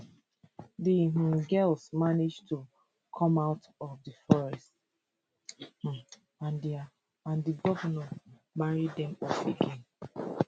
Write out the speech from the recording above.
di um girls manage to come out of di forest um and di govnor marry dem off again